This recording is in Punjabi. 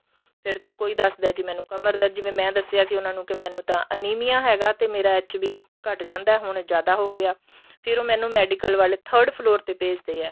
ਫ਼ੇਰ ਕੋਈ ਦੱਸਦਾ ਏ ਕੀ ਮੈਨੂੰ ਕਮਰ ਦਾ ਜਿਵੇਂ ਮੈਂ ਦੱਸਿਆ ਸੀ ਉਹਨਾ ਨੂੰ ਕੀ ਮੈਂਨੂੰ ਤਾਂ ਅਨੀਮੀਆ ਹੈਗਾ ਤੇ ਮੇਰਾ HP ਘੱਟ ਜਾਂਦਾ ਏ ਹੁਣ ਜਿਆਦਾ ਹੋ ਗਿਆ ਫ਼ਿਰ ਉਹ ਮੈਨੂੰ medical ਵਾਲੇ third floor ਭੇਜਦੇ ਏ